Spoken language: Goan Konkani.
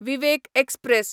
विवेक एक्सप्रॅस